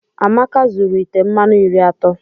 Amaka zuru ite mmanụ iri atọ.